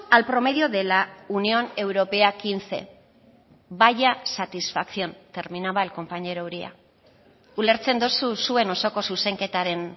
al promedio de la unión europea quince vaya satisfacción terminaba el compañero uria ulertzen duzu zuen osoko zuzenketaren